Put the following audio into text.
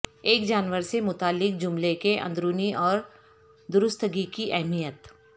ایک جانور سے متعلق جملے کے اندرونی اور درستگی کی اہمیت